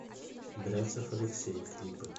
бряцев алексей клипы